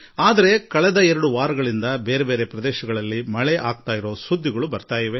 ಆದಾಗ್ಯೂ ಕಳೆದ ಎರಡು ವಾರಗಳಿಂದ ಬೇರೆ ಬೇರೆ ಸ್ಥಳಗಳಿಂದ ಮಳೆ ಆರಂಭವಾದ ಸ್ವಾಗತಾರ್ಹ ಸುದ್ದಿ ಬರುತ್ತಿದೆ